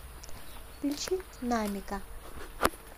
включи намика